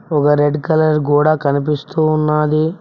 ఒక red colour కూడా కనిపిస్తూ ఉన్నది.